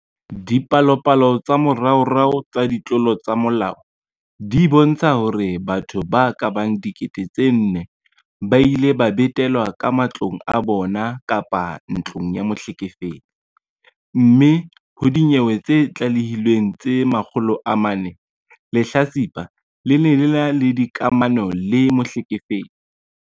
Dipalopalo tsa moraorao tsa ditlolo tsa molao di bontsha hore batho ba ka bang 4 000 ba ile ba betelwa ka matlong a bona kapa ntlong ya mohlekefetsi, mme ho dinyewe tse tlalehilweng tse 400, lehlatsipa le ne le ena le dikamano le mohlekefetsi.